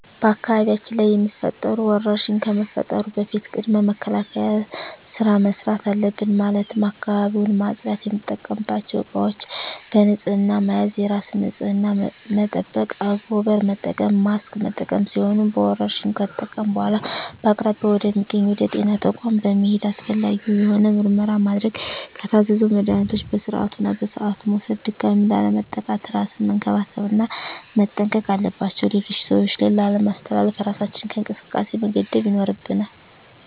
በአካባቢያችን ላይ የሚፈጠሩ ወረርሽኝ ከመፈጠሩ በፊት ቅድመ መከላከል ስራ መስራት አለብን ማለትም አካባቢውን ማፅዳት፣ የምንጠቀምባቸው እቃዎች በንህፅና መያዝ፣ የራስን ንፅህና መጠበቅ፣ አንጎበር መጠቀም፣ ማስክ መጠቀም ሲሆኑ በወረርሽኙ ከተጠቃን በኃላ በአቅራቢያ ወደ ሚገኝ ወደ ጤና ተቋም በመሔድ አስፈላጊውን የሆነ ምርመራ ማድረግ የታዘዘውን መድሀኒቶች በስርዓቱ እና በሰዓቱ መውሰድ ድጋሚ ላለመጠቃት እራስን መንከባከብ እና መጠንቀቅ አለባቸው ሌሎች ሰዎች ላይ ላለማስተላለፍ እራሳችንን ከእንቅስቃሴ መገደብ ይኖርብናል።